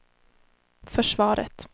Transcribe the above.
försvaret